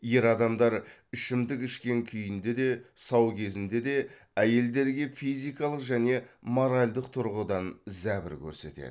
ер адамдар ішімдік ішкен күйінде де сау кезінде де әйелдерге физикалық және моральдық тұрғыдан зәбір көрсетеді